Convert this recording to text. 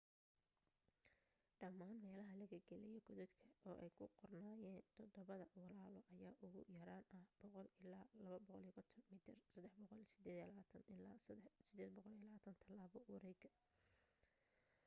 dhamaan meelaha laga galaayo godadka oo ay ku qornaayeen todobada walaalo” ayaa ugu yaraan ah 100 ila 250 mitar 328 ilaa 820 talaabo wareega